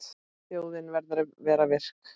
Þjóðin verður að vera virk.